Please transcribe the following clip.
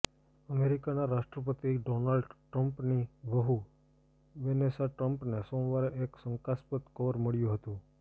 અમેરિકાના રાષ્ટ્રપતિ ડોનાલ્ડ ટ્રમ્પની વહૂ વેનેસા ટ્રમ્પને સોમવારે એક શંકાસ્પદ કવર મળ્યું હતું